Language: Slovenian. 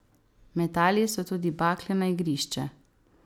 Metali so tudi bakle na igrišče.